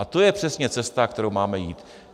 A to je přesně cesta, kterou máme jít.